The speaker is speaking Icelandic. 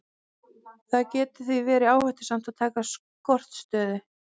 Það getur því verið áhættusamt að taka skortstöðu.